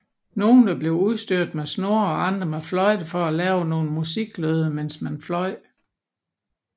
Nogle blev udstyret med snore og andre med fløjter for at lave nogle musiklyde mens man fløj